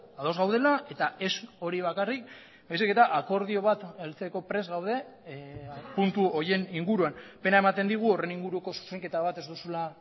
ados gaudela eta ez hori bakarrik baizik eta akordio bat heltzeko prest gaude puntu horien inguruan pena ematen digu horren inguruko zuzenketa bat ez duzula